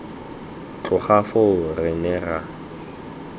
tloga foo re ne ra